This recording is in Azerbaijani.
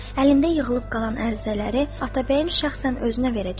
Əlində yığılıb qalan ərizələri Atabəyin şəxsən özünə verəcəyəm.